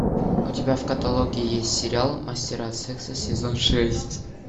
у тебя в каталоге есть сериал мастера секса сезон шесть